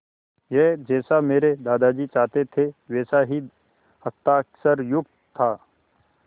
यह जैसा मेरे दादाजी चाहते थे वैसा ही हस्ताक्षरयुक्त था